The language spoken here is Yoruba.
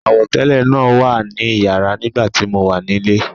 Àwọ̀tẹ́lẹ̀ náà wà ní iyàrá nígbà tí mo wà nílé.